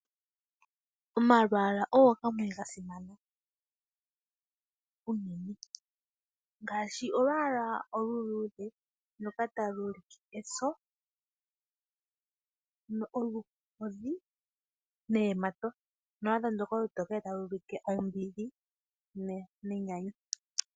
Omalwaala ogo gamwe gasimana . Ngaashi olwaala oluluudhe ndoka talu ulike eso, oluhodhi neyamato, naandyoka olutokele ota lu holola ombili nenyanyu.